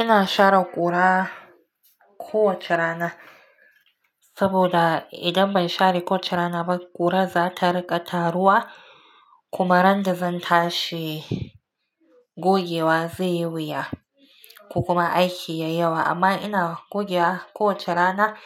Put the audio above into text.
Ina share ƙura kowace rana saboda idan ban share ko wace rana ba ƙura za ta riƙa taruwa kuma ran da zan tashi gogewa zai yi wuya ko kuma aiki yayi yawa amma ina gogewa kowace rana